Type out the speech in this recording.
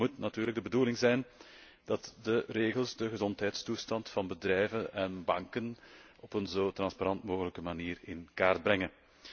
En het moet natuurlijk de bedoeling zijn dat de regels de gezondheidstoestand van bedrijven en banken op een zo transparant mogelijke manier in kaart brengen.